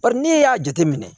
Bari n'e y'a jateminɛ